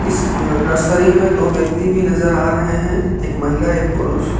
इस नर्सरी में दो व्यक्ति भी नजर आ रहे हैं एक महिला एक पुरुष।